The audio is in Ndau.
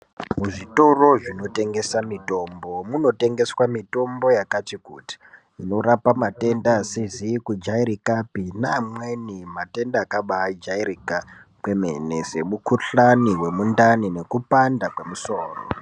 Muzvitoro zvinotengesa mitombo munotengeswa mitombo yakati kuti inorape matenda asizi kujairikapi neamweni matenda akabaijairika kwemene semukuhlani wendani nekupanda kwemusoro.